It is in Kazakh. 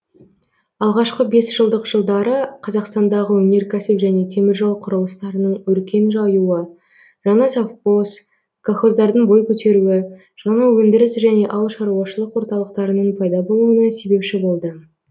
алғашқы бесжылдық жылдары қазақстандағы өнеркәсіп және теміржол кұрылыстарының өркен жаюы жаңа совхоз колхоздардың бой көтеруі жаңа өндіріс және ауылшаруашылык орталықтарының пайда болуына себепші болды